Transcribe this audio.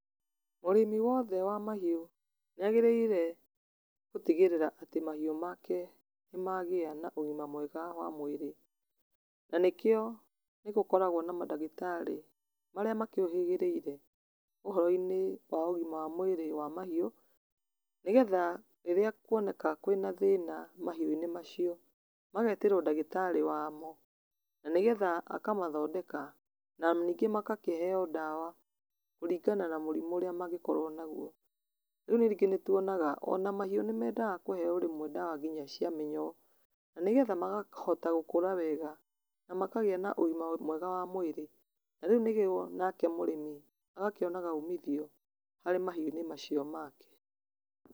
Mũrĩmi wothe wa mahiũ nĩ agĩrĩire gũtigĩrĩra atĩ mahiũ make nĩ magĩa na ũgima mwega wa mwĩrĩ. Na nĩkĩo nĩgũkoragwo na mandagĩtarĩ marĩa makĩũhĩgĩrĩire ũhoro-inĩ wa ũgima wa mwĩrĩ wa mahiũ nĩgetha rĩrĩa kuoneka kwĩna thĩna mahiũ-inĩ macio, magetĩrwo ndagĩtarĩ wamo, na nĩgetha akamathondeka na nĩngĩ magakĩheo ndawa kũringana na mũrimũ ũrĩa mangĩkorwo naguo. Rĩu ningĩ nĩ tuonaga ona mahiũ nĩ mendaga kũheo o rĩmwe nginya ndawa cia mĩnyoo nĩgetha makahota gũkũra wega na makagĩa na ũgima mwega wa mwĩrĩ na rĩu nĩguo, nake mũrĩmi agakĩona umithio harĩ mahiũ-inĩ macio make.